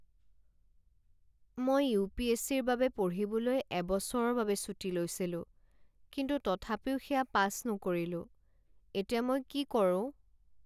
মই U P S C ৰ বাবে পঢ়িবলৈ এবছৰৰ বাবে ছুটী লৈছিলোঁ কিন্তু তথাপিও সেয়া পাছ নকৰিলোঁ। এতিয়া মই কি কৰোঁ?